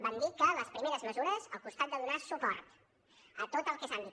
vam dir que les primeres mesures al costat de donar suport a tot el que és àmbit